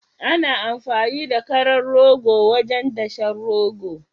Ana amfani da karan rogo wajen dashen rogo